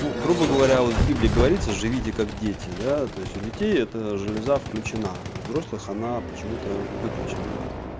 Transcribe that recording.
ну грубо говоря вот в библии говорится живите как дети да то есть у детей эта железа включена у взрослых она почему-то выключена